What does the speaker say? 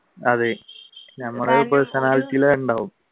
അതെ ഞമ്മടെ ഒരു personality യിൽ ഉണ്ടാവും